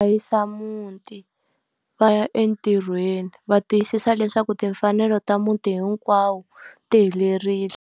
muti va ya entirhweni va tiyisisa leswaku timfanelo ta muti hinkwawo ti helerile.